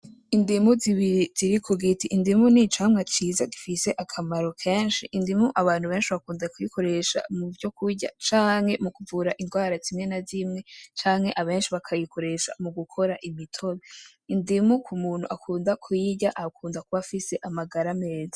Indimu zibiri ziri ku giti, indimu ni icamwa ciza gifise akamaro kenshi, indimu abantu benshi bakunda kuyikoresha mu vyo kurya canke mu kuvura ingwara zimwe na zimwe canke abenshi bakayikoresha mu gukora imitobe. Indimu k'umuntu akunda kuyirya akunda kuba afise amagara meza.